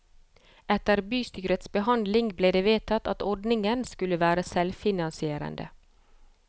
Etter bystyrets behandling ble det vedtatt at ordningen skulle være selvfinansierende.